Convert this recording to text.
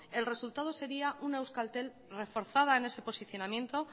el resultado sería una euskaltel reforzada en ese posicionamiento